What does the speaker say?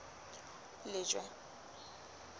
lejwe